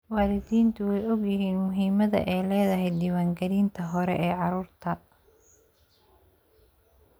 Waalidiintu way ogyihiin muhiimadda ay leedahay diiwaangelinta hore ee carruurta.